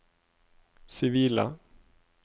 sivile